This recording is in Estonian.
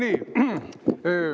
Aitäh!